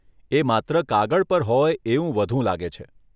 એ માત્ર કાગળ પર હોય એવું વધુ લાગે છે.